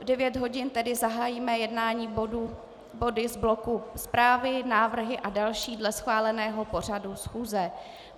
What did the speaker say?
V 9 hodin tedy zahájíme jednání body z bloku zprávy, návrhy a další dle schváleného pořadu schůze.